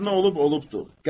Hər nə olub olubdur.